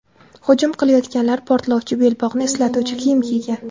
Hujum qilayotganlar portlovchi belbog‘ni eslatuvchi kiyim kiygan.